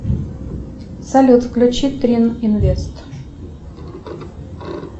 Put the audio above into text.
салют включи трин инвест